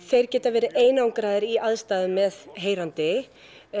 þeir geta verið einangraðir í aðstæðum með heyrandi